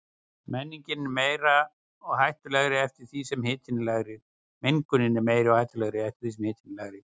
Mengunin er meiri og hættulegri eftir því sem hitinn er lægri.